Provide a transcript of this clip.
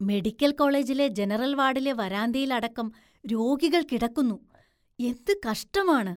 Medical‍ കോളേജിലെ general‍ വാര്‍ഡിലെ വരാന്തയില്‍ അടക്കം രോഗികള്‍ കിടക്കുന്നു, എന്ത് കഷ്ടമാണ്.